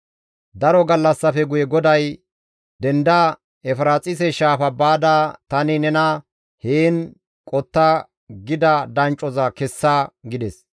Daro gallassafe guye GODAY, «Denda Efiraaxise Shaafa baada tani nena, ‹Heen qotta› gida danccoza kessa» gides.